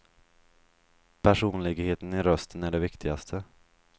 Personligheten i rösten är det viktigaste.